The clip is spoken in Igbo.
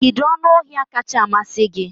Kedu anụ ọhịa kacha amasị gị?